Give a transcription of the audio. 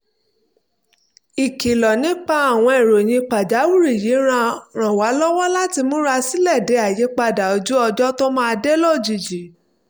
ìkìlọ̀ nípa àwọn ìròyìn pàjáwìrì yìí ràn wá lọ́wọ́ láti múra sílẹ̀ de àyípadà ojú ọjọ́ tó máa dé lójijì